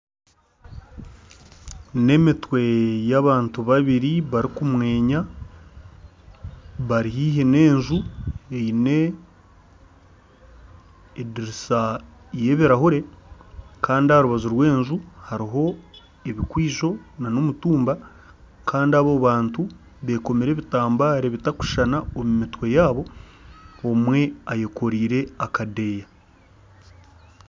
N'emitwe y'abantu babiri barikumwenya, bari haihi n'enju eine ediirisa y'ebirahure kandi aha rubaju rw'enju hariho ebikwizo nana omutumba kandi abo bantu beekomire ebitambare bitakushushana omu mitwe yaabo, omwe ayekooreire akadeeya